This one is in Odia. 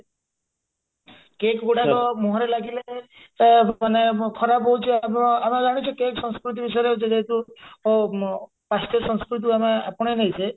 cake ଗୁଡାକ ମୁହଁରେ ଲାଗିଲେ ଆ ମାନେ ଖରାପ ହାଉଛି ଆ ଆମେ ଜାଣିଛେ cake ସଂସ୍କୃତି ବିଷୟରେ ଯେହେତୁ ଅ ପାଶ୍ଚ୍ୟ ସଂସ୍କୃତିକୁ ଆମେ ଆପଣେଇ ନେଇଛେ